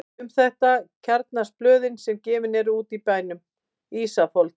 Um þetta kjarnast blöðin sem gefin eru út í bænum: Ísafold